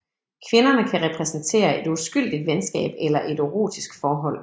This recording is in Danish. Kvinderne kan repræsentere et uskyldigt venskab eller et erotisk forhold